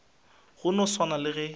go no swana le ge